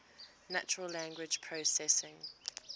natural language processing